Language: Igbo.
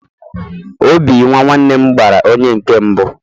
obi nwa nwannem gbara onye nkem mbu